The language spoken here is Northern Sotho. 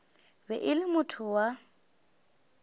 be e le motho wa